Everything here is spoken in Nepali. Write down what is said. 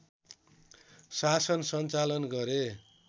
शासन सञ्चालन गरे